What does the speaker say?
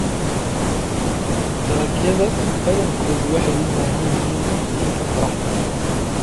Dalagyada badankoodu waxay u baahan yihiin iftiinka qorraxda.